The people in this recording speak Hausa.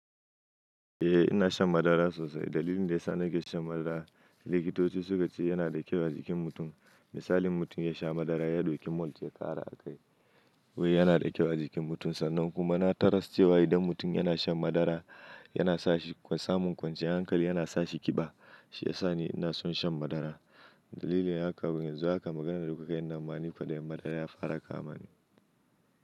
Eh ina shan madara sosai. Dalilin da ya sa na ke shan madara, likitoci suka ce yana da kyau a jikin mutum. Misali mutum ya sha madara ya ɗauki malt ya ƙara a kai. Wai yana da kyau a jikin mutum sannan kuma na taras cewa idan mutum yana shan madara yana sa shi samun kwanciyar hankali, yana sa shi ƙiba. Shi ya sa ni ina son shan madara. Dalili haka yanzu haka ka maganar da kukai, nan ma ni fa kwaɗayin madara ya fara kama ni.